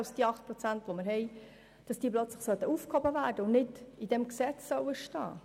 Weshalb sollte ich diesen nun plötzlich aufheben und nicht in dieses Gesetz schreiben?